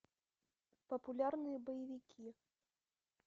популярные боевики